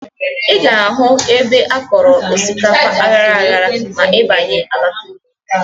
Ị ga-ahụ ebe akọrọ osikapa aghara aghara ma ị banye Abakaliki.